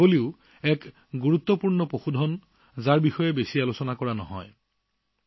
কিন্তু ছাগলীও এটা গুৰুত্বপূৰ্ণ প্ৰাণী যাৰ বিষয়ে বিশেষ আলোচনা হোৱা নাই